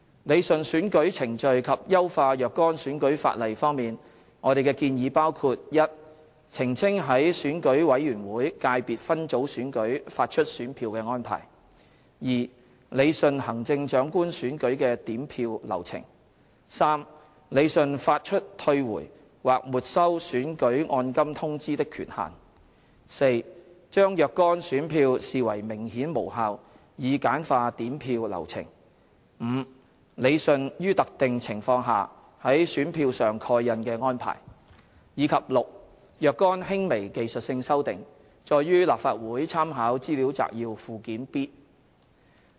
理順選舉程序及優化若干選舉法例方面，我們的建議包括： a 澄清在選舉委員會界別分組選舉發出選票的安排； b 理順行政長官選舉的點票流程； c 理順發出退回或沒收選舉按金通知的權限； d 將若干選票視為明顯無效以簡化點票流程； e 理順於特定情況下在選票上蓋印的安排；及 f 若干輕微技術性修訂，載於立法會參考資料摘要附件 B。